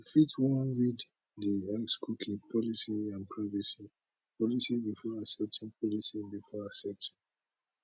you fit wan read di x cookie policy and privacy policy before accepting policy before accepting